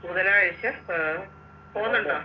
ബുധനാഴ്ച ആഹ് പോന്നുണ്ടോ